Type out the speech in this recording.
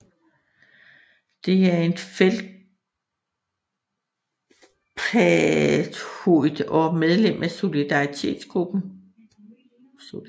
Det er en feldspathoid og medlem af sodalitgruppen